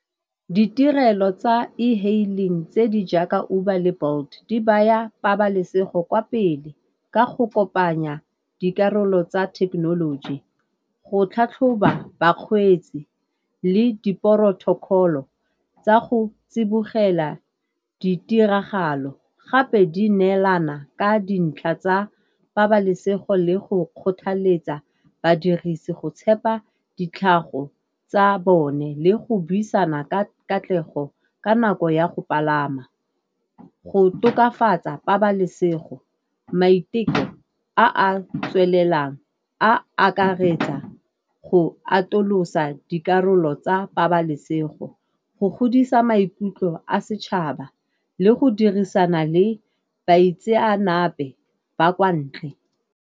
Ditirelo tsa e-hailing tse di jaaka Uber le Bolt di baya pabalesego kwa pele ka go kopanya dikarolo tsa thekenoloji, go tlhatlhoba bakgweetsi le di-protocol-o tsa go tsibogela ditiragalo. Gape di neelana ka dintlha tsa pabalesego le go kgothaletsa badirisi go tshepa ditlhago tsa bone le go buisana ka katlego ka nako ya go palama. Go tokafatsa pabalesego maiteko a tswelelang a akaretsa go atolosa dikarolo tsa pabalesego, go godisa maikutlo a setšhaba le go dirisana le baitseanape ba kwa ntle.